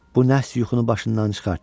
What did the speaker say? Bu nəhs yuxunu başından çıxart.